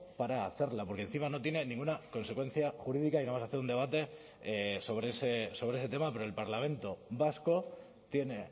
para hacerla porque encima no tiene ninguna consecuencia jurídica y no vamos a hacer un debate sobre ese tema pero el parlamento vasco tiene